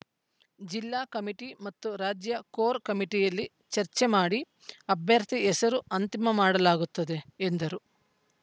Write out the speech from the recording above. ಜಿಲ್ಲಾ ಕಮಿಟಿ ಮತ್ತು ರಾಜ್ಯ ಕೋರ್‌ ಕಮಿಟಿಯಲ್ಲಿ ಚರ್ಚೆ ಮಾಡಿ ಅಭ್ಯರ್ಥಿ ಹೆಸರು ಅಂತಿಮ ಮಾಡಲಾಗುತ್ತದೆ ಎಂದರು